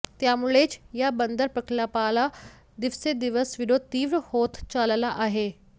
त्यामुळेच या बंदर प्रकल्पाला दिवसेदिवस विरोध तीव्र होत चालला आहे